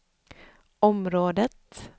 området